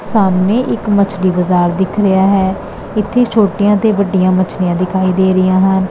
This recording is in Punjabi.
ਸਾਹਮਣੇ ਇੱਕ ਮਛਲੀ ਬਾਜ਼ਾਰ ਦਿਖ ਰਿਹਾ ਹੈ ਇੱਥੇ ਛੋਟੀਆਂ ਤੇ ਵੱਡੀਆਂ ਮਛਲੀਆਂ ਦਿਖਾਈ ਦੇ ਰਹੀਆਂ ਹਨ।